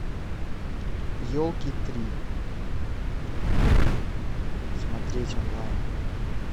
елки три смотреть онлайн